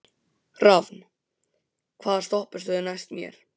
Rafn, hvaða stoppistöð er næst mér?